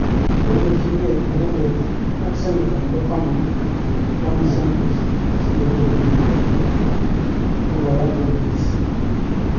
Koipelchi gee inenedet ak Senata nepo Vermont Bernie Sandres kosir olekogibwatitai, ago kora kopelis